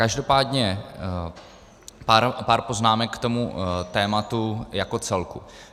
Každopádně pár poznámek k tomuto tématu jako celku.